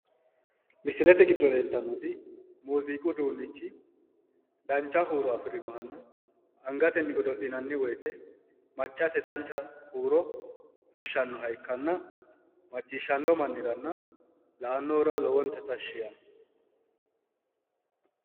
misilete giddo leeltannoti muziiqu uduunnichi dancha huuro afirinohanna angate godo'linannni wote maccate dancha huuro fushshannoha iikkanna macciishshanno manniranna la'annohura lowonta tashshi yaanno.